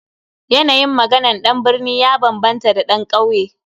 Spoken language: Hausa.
Yanayin maganan dan birni ya bambanta da dan kauye.